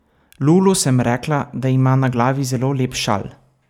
Lulu sem rekla, da ima na glavi zelo lep šal.